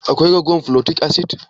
Akwai raguwan folic acid?